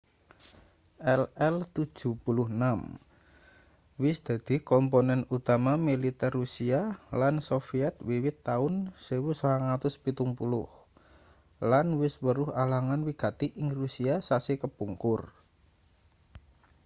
ii-76 wis dadi komponen utama militer rusia lan soviet wiwit taun 1970 lan wis weruh alangan wigati ing rusia sasi kepungkur